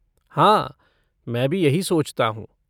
हाँ, मैं भी यही सोचता हूँ।